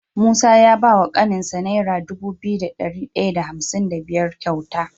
Musa ya bawa kanin sa naira Dubu biyu da dari daya da hamsin da biyar kyauta